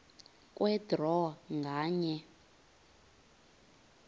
kwe draw nganye